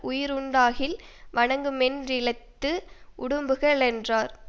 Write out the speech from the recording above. உயிருண்டாகில் வணங்குமென்றிழித்து உடம்புகளென்றார்